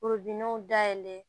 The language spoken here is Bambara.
dayɛlɛ